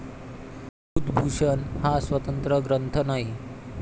बुधभूषण हा स्वतंत्र ग्रंथ नाही.